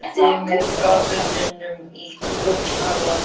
Hann ýtti með gafflinum í gúllasið.